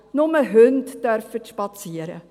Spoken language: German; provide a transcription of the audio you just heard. nur Hunde dürfen spazieren.»